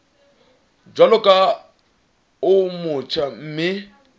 jwalo ka o motjha mme